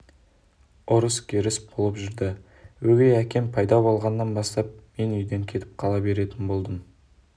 ұрыс-керіс болып жүрді ал өгей әкем пайда болғаннан бастап мен үйден кетіп қала беретін болдым